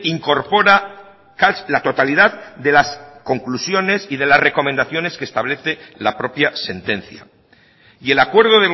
incorpora la totalidad de las conclusiones y de las recomendaciones que establece la propia sentencia y el acuerdo